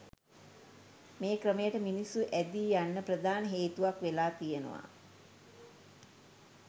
මේ ක්‍රමයට මිනිස්සු ඇඳී යන්න ප්‍රධාන හේතුවක් වෙලා තියෙනවා